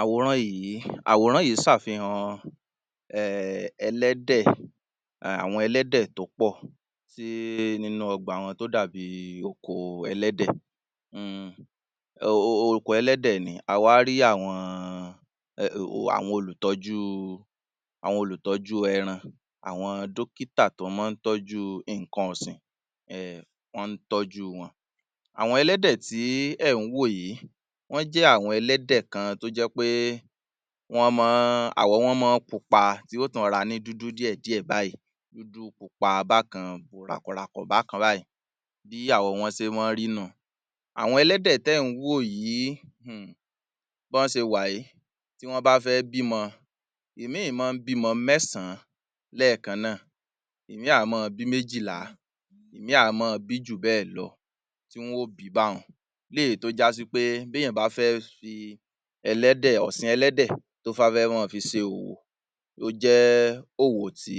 Àwòrán yìí, àwọ̀ràn yìí sàfihàn um ẹlẹ́dẹ̀, àwọn ẹlẹ́dẹ̀ tó pọ́, tí nínú ọgbà wọn tó dàbí oko ẹlẹ́dẹ̀ um oko ẹlẹ́dẹ̀ ni, a wá rí àwọn àwọn olùtọ́jú àwọn olùtọ́jú ẹran, àwọn dókìtà tó máa ń tọ́jú ǹnkan ọ̀sìn[um] wọ́n tọ́jú wọn. Àwọn ẹlẹ́dẹ̀ tí ẹ̀ ń wò yìí, wọ́n jẹ́ àwọn ẹlẹ́dẹ̀ kan tó jẹ́ pé wọ́n máa ń, àwọ̀ wọn máa ń pupa tí yóò tún rọra ní dúdú díẹ̀ díẹ̀ báyìí, dúdú pupa bákan ràkọ̀ ràkọ̀ bákan báyìí, bí àwọ wọn ṣe máa ń rí nìhun. Àwọn ẹlẹ́dẹ̀ tẹ́ ń wò yìí[um] bọ́ ṣe wà yìí, tí wọ́n bá fẹ́ bímọ, ìmí máa ń bímọ mẹ́sàn lẹ́ẹ̀kàn náà, ìmí á máa bí méjìlá, ìmí á máa bí jù bẹ́ẹ̀ lọ tí wọ́n ó bí báhun, eléyìí tó já sí pé tí èèyàn fẹ́ fí ẹlẹ́dẹ̀, ọ̀sìn ẹlẹ́dẹ̀ tí wọ́n bá fẹ́ máa fi ṣe òwò, ó jẹ́ òwò tí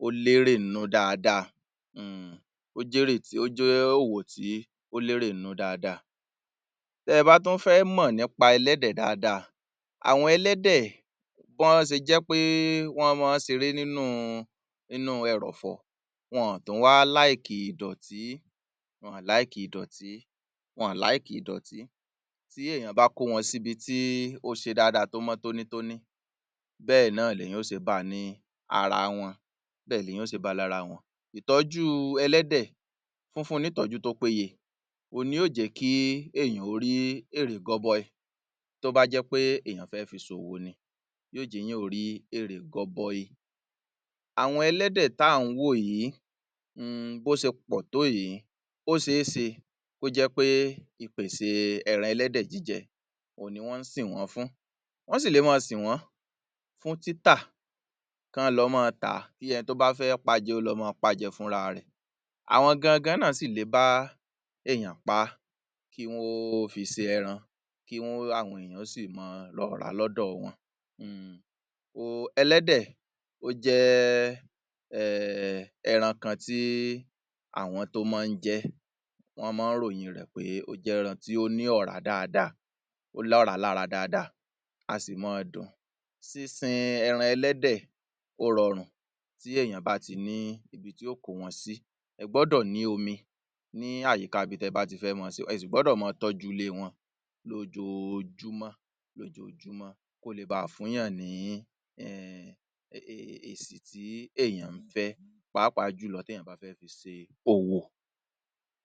ó lérè nú dáadáa[um] ó jẹ́ èrè, ó jẹ́ òwò tí ó lérè nú dáadáa. Bẹ́ bá tún fẹ́ mọ̀ nípa ẹlẹ́dẹ̀ dáadáa àwọn ẹlẹ́dẹ̀ bó ṣe jẹ́ wí pẹ́ wọ́n máa ṣeré nínú inú ẹrọ̀fọ̀, wọn ò tún wá ìdọ̀tí, wọn ò ìdọ̀tí, wọn ò ìdọ̀tí, tí èèyàn bá kó wọ́n síbí tí ó ṣe dáadáa, tó mọ́ tóní tóní, bẹ́ẹ̀ náà ni èèyàn yó ṣe ba ní ara wọn, bẹ́ẹ̀ lèèyàn ó ṣe ba lára wọn. Ìtọ́jú ẹlẹ́dẹ̀, fúnfun ní ìtọ́jú tó péye òun ni yóò jẹ́ kí èèyàn ó rí èrè gọbọi tó bá jẹ́ pé èèyàn fẹ́ fi ṣòwò ni, yóò jẹ́ èèyàn rí èrè gọbọi. Àwọn ẹlẹ́dẹ̀ tà ń wò yìí um bó ṣe pọ̀ tó yìí, ó ṣéṣe kó jẹ́ pé ìpèsè ẹran ẹlẹ́dẹ̀ jíjẹ, òhun ni wọ́n sìn wọ́n fún, wọ́n sì lè máa sìn wọ́n fún títà kọ́ lọ máa tà, kí ẹni tó máa pá jẹ fúnra rẹ̀, àwọn gangan náà sì lè bá èèyàn pá, kí wọ́n fi ṣe ẹran, kí wọ́n àwọn èèyàn ó si máa lọ ra lọ́dọ wọn. um Ẹlẹ́dẹ̀ ó jẹ́ um ẹran kan tí àwọn tó máa ń jẹ́, wọ́n máa ń ròyìn rẹ̀ pé ó jẹ́ ẹran tí ó ní ọ̀rá dáadáa, ó lọ̀rá lára dáadáa, a sì máa dùn. Sísin ẹran ẹlẹ́dẹ̀ ó rọrùn tí èèyàn bá ti ní ibi tí ó kó wọn sí, ẹ gbọ́dọ̀ ní omi ní àyíká ibi tí ẹ bá ti fẹ́ máa sìn wọ́n, ẹ sì gbọ́dọ̀ máa tọ́jú ilé wọn lójojúmọ́ lójojúmọ́ kó le bà fúnyàn ní um èsì tí èèyàn ń fẹ́ páàpáà jùlọ tí ẹ̀èyàn bá fẹ́ fi ṣe òwò.